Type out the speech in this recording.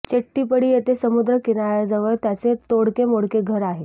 चेट्टीपडी येथे समुद्र किनाऱ्याजवळ त्याचे तोडके मोडके घर आहे